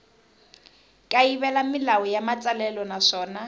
kayivela milawu ya matsalelo naswona